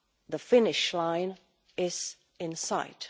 The finish line is in sight.